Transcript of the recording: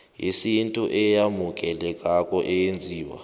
yesintu eyamukelekako eyenziwe